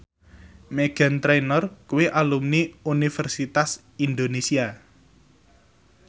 Meghan Trainor kuwi alumni Universitas Indonesia